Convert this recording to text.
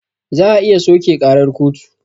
Za a iya soƙe ƙarar kotu